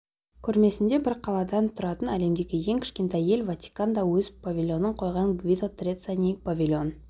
көрмесінде бір қаладан тұратын әлемдегі ең кішкентай ел ватикан да өз павильонын қойған гвидо треццани павильон